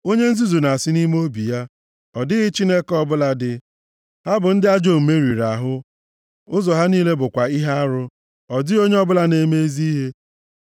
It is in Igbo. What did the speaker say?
Onye nzuzu na-asị nʼime obi ya, “Ọ dịghị Chineke ọbụla dị.” Ha bụ ndị ajọ omume riri ahụ, ụzọ ha niile bụkwa ihe arụ; ọ dịghị onye ọbụla na-eme ezi ihe.